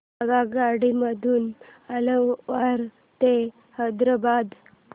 आगगाडी मधून अलवार ते हैदराबाद